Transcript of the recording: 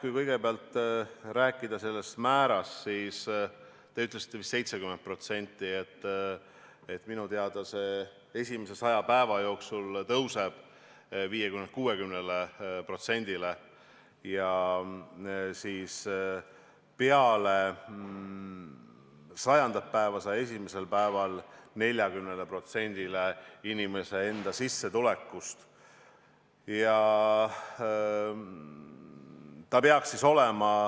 Kui kõigepealt rääkida sellest määrast, siis teie ütlesite vist 70%, minu teada see esimese 100 päeva jooksul tõuseb 50%-lt 60%-le ja peale 100. päeva, 101. päeval 40%-le inimese sissetulekust.